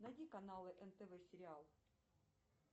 найди каналы нтв сериал